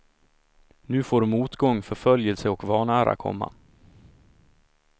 Nu får motgång, förföljelse och vanära komma.